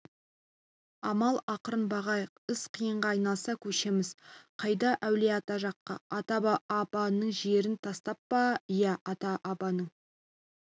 амал ақырын бағайық іс қиынға айналса көшеміз қайда әулие-ата жаққа ата-бабаның жерін тастап па иә ата-бабаның